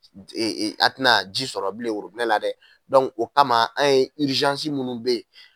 a tɛna ji sɔrɔ bilen worobinɛ la dɛ o kama an ye minnu bɛ ye.